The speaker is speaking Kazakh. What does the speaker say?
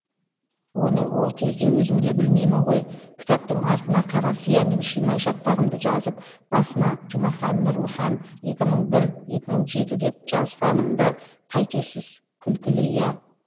оны ол кезде өзімде білмеймін ғой кітаптың артына қара сиямен шимай шатпағымды жазып басына жұмахан нұрлыхан деп жазғанымды қайтесіз күлкілі иә